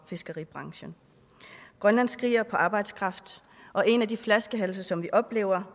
fiskeribranchen grønland skriger på arbejdskraft og en af de flaskehalse som vi oplever